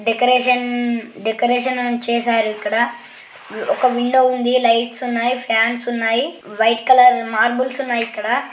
Decoration decoration చేశారు ఇక్కడ. ఒక విండో ఉంది. లైట్స్ ఉన్నాయి. ఫాన్స్ ఉన్నాయి వైట్ కలర్ మరబుల్స్ ఉన్నాయి ఇక్కడ.